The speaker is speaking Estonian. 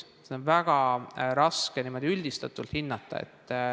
On väga raske niimoodi üldistatult hinnata.